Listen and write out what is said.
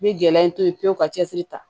N bɛ gɛlɛya to ye pewu ka cɛsiri ta